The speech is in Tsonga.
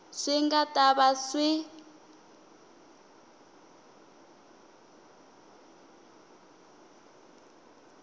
swi nga ta va swi